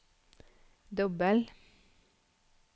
dobbel